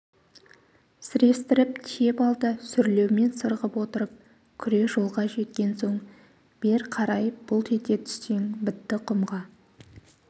сірестіріп тиеп ал да сүрлеумен сырғып отырып күре жолға жеткен соң бер қарай бұлт ете түссең бітті құмға